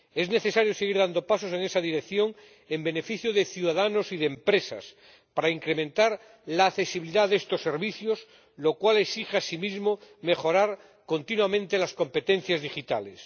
Es necesario seguir dando pasos en esa dirección en beneficio de ciudadanos y de empresas para incrementar la accesibilidad de estos servicios, lo cual exige asimismo mejorar continuamente las competencias digitales.